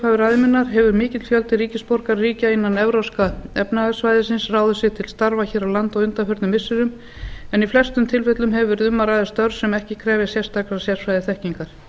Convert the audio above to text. upphafi ræðu minnar hefur mikill fjöldi ríkisborgara ríkja innan evrópska efnahagssvæðisins ráðið sig til starfa hér á landi á undanförnum missirum en í flestu tilfellum hefur verið um að ræða störf sem ekki krefjast sérstakrar sérfræðiþekkingar